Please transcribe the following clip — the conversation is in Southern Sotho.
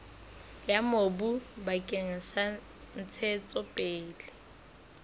ya mobu bakeng sa ntshetsopele